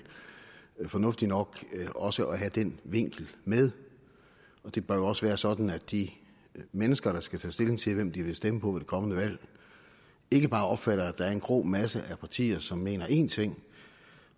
fornuftigt nok også at have den vinkel med det bør jo også være sådan at de mennesker der skal tage stilling til hvem de vil stemme på ved det kommende valg ikke bare opfatter at der er en grå masse af partier som mener én ting